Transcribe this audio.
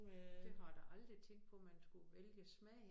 Det har jeg da aldrig tænkt på man skulle vælge smag